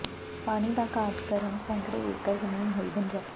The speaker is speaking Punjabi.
ਪਾਣੀ ਦਾ ਘਾਟ ਕਾਰਨ ਸੈਂਕੜੇ ਏਕੜ ਜ਼ਮੀਨ ਹੋਈ ਬੰਜਰ